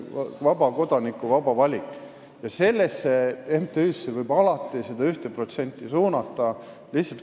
See on vaba kodaniku vaba valik ja sellesse MTÜ-sse võib seda 1% alati suunata.